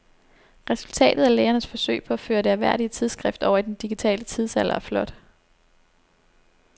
Resultatet af lægernes forsøg på at føre det ærværdige tidsskrift over i den digitale tidsalder er flot.